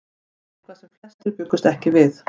Eitthvað sem flestir bjuggust ekki við